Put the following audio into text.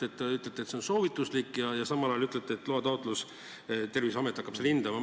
Te ütlete, et see on soovituslik, ja samal ajal ütlete, et tuleb esitada loataotlus, Terviseamet hakkab seda riski hindama.